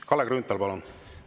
Kalle Grünthal, palun!